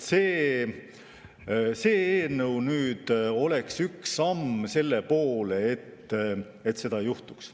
See eelnõu oleks üks samm selle poole, et seda ei juhtuks.